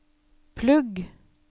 plugg